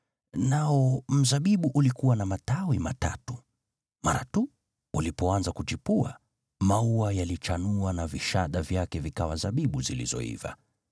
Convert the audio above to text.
nao mzabibu ulikuwa na matawi matatu. Mara tu ulipoanza kuchipua, maua yalichanua na vishada vyake vikawa zabibu zilizoiva.